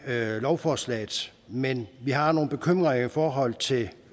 lovforslaget men vi har nogle bekymringer i forhold til